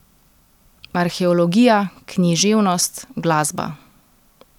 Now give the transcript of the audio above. Arheologija, književnost, glasba.